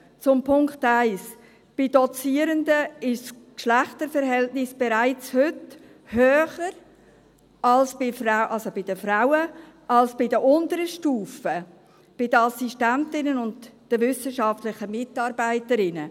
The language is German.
Zu Punkt 1: Bei Dozierenden ist das Geschlechterverhältnis bereits heute bei den Frauen höher als bei den unteren Stufen, den Assistentinnen und den wissenschaftlichen Mitarbeiterinnen.